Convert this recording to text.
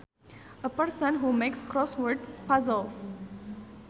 A person who makes crossword puzzles